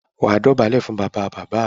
wà á dọ̀bálẹ̀ fún “ bàbabàbá” rẹ.